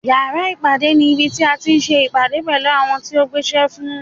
Yàrá ìpàdé ní ibi tí a ti ń se ìpàdé pẹ̀lú àwọn tí ń gbéṣẹ́ fún ni.